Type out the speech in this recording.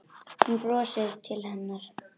Hann brosir til hennar.